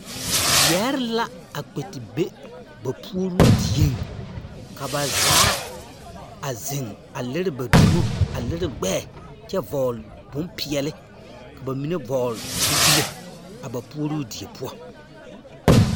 Yɛɛre la a kpɛ te be ba puoruu dieŋ ka ba zaa a zeŋ a liri ba dumo a liri gbɛɛ kyɛ vɔgle bompeɛli ka bamine vɔgle zupile a ba puoruu die poɔ.